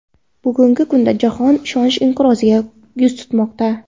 Bugungi kunda jahon ishonch inqiroziga yuz tutmoqda.